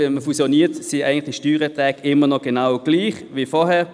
Wenn man fusioniert, sind die Steuererträge immer noch gleich wie vorher.